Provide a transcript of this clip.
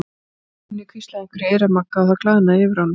Gunni hvíslaði einhverju í eyra Magga og það glaðnaði yfir honum.